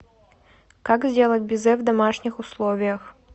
как сделать безе в домашних условиях